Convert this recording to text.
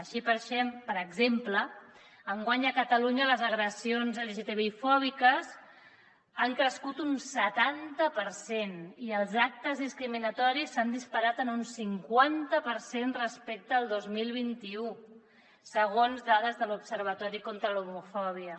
així per exemple enguany a catalunya les agressions lgtbi fòbiques han crescut un setanta per cent i els actes discriminatoris s’han disparat en un cinquanta per cent respecte al dos mil vint u segons dades de l’observatori contra l’homofòbia